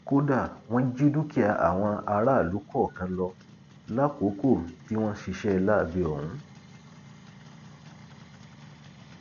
kódà wọn jí dúkìá àwọn aráàlú kọọkan lọ lákòókò tí wọn ń ṣiṣẹ láabi ọhún